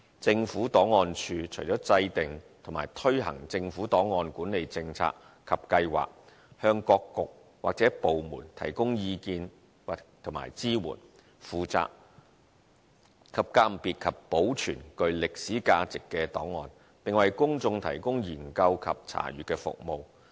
政府檔案處除了制訂和推行政府案管理政策及計劃，以及向各局或部門提供意見和支援外，亦負責鑒別及保存具歷史價值的檔案，並為公眾提供研究及查閱的服務。